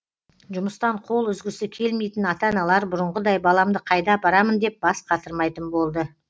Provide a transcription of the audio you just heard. жұмыстан қол үзгісі келмейтін ата аналар бұрынғыдай баламды қайда апарамын деп бас қатырмайтын болды